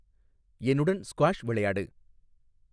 என்னுடன் ஸ்குவாஷ் விளையாடு